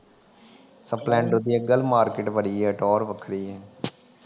Splendor ਦੀ ਅੱਜ ਕਲ ਮਾਰਕਿਟ ਬੜੀ ਆ। ਟੌਹਰ ਵੱਖਰੀ ਏ